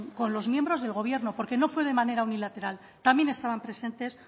con los miembros del gobierno porque no fue de manera unilateral también estaban presentes